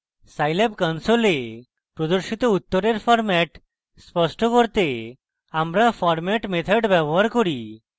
scilab console প্রদর্শিত উত্তরের format স্পষ্ট করতে আমরা format method ব্যবহার করি